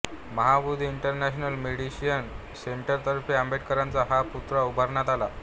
Mahabodhi international meditation सेंटरतर्फे आंबेडकरांचा हा पुतळा उभारण्यात आला